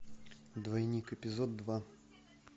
двойник эпизод два